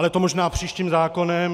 Ale to možná příštím zákonem.